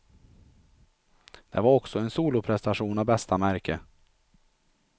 Det var också en soloprestation av bästa märke.